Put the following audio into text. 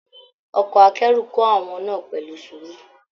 Ọkọ akẹ́rù kò àwọn náà pẹlu sùúrù